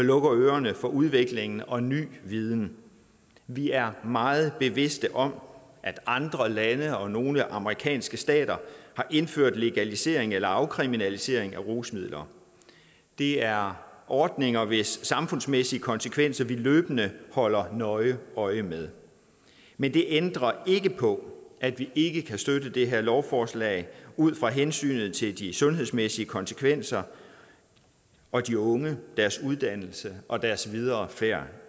lukker ørerne for udviklingen og ny viden vi er meget bevidst om at andre lande og nogle amerikanske stater har indført legalisering eller afkriminalisering af rusmidler det er ordninger hvis samfundsmæssige konsekvenser vi løbende holder nøje øje med men det ændrer ikke på at vi ikke kan støtte det her lovforslag ud fra hensynet til de sundhedsmæssige konsekvenser og de unge deres uddannelse og deres videre færd